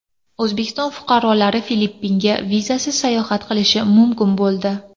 O‘zbekiston fuqarolari Filippinga vizasiz sayohat qilishi mumkin bo‘ldi.